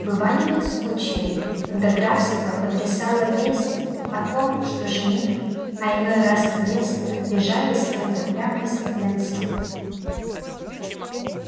бывали ведь случаи когда графство потрясала весть о том что жених а иной раз невеста бежали с кем-то прямо из-под венца